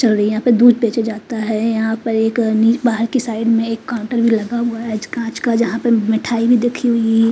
sorry यहाँ पे दूध बेचा जाता है यहाँ पर एक नी बाहर की साइड मे एक काउन्टर भी लगा हुआ है आज कांच का जहां पे मिठाई भी दखी हुई--